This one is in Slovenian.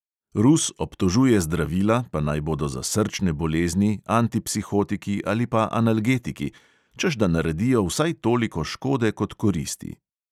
Rus obtožuje zdravila, pa naj bodo za srčne bolezni, antipsihotiki ali pa analgetiki, češ da naredijo vsaj toliko škode kot koristi.